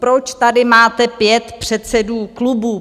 Proč tady máte 5 předsedů klubů!